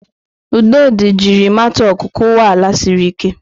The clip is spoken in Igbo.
Udodi jiri matok kụwa ala siri ike.